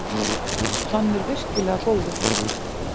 Hann er virkilega góður